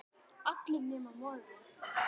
allir nema móðir mín